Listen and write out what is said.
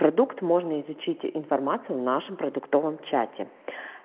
продукт можно изучить информацию в нашем продуктовом чате